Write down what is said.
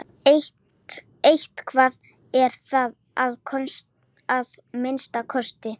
Eitthvað er það að minnsta kosti.